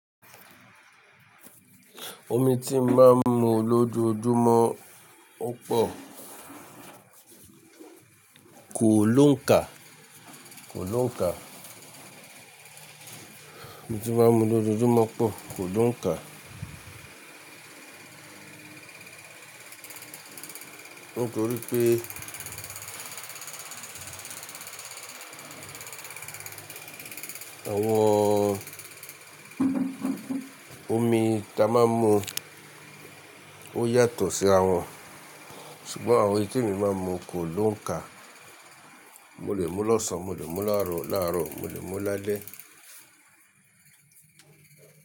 Omi tí n máa ń mu lójoojúmọ́ o pọ̀ kò lóǹkà, kò lóǹkà. Omi tí n máa ń mu lójoojúmọ́ pọ̀ kò lóǹkà. Nítorí pé àwọn omi táa máa ń mu ó yàtọ̀ sí àwọn ṣùgbọ́n àwọn eyi tí emi máa ń mu kò lóǹkà. Mo lè mú lọ́sàn, mo lè mú láàárọ̀, mo lè mú lálẹ́.